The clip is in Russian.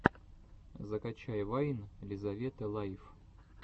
закачай вайн лизаветы лайф